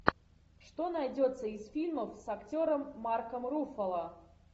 что найдется из фильмов с актером марком руффало